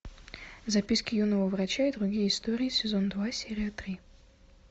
записки юного врача и другие истории сезон два серия три